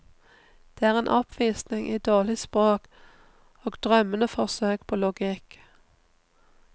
Det er en oppvisning i dårlig språk og drømmende forsøk på logikk.